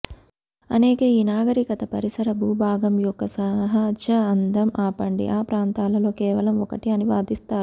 అనేక ఈ నాగరికత పరిసర భూభాగం యొక్క సహజ అందం ఆపండి ఆ ప్రాంతాలలో కేవలం ఒకటి అని వాదిస్తారు